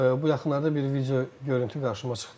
Bu yaxınlarda bir video görüntü qarşıma çıxdı.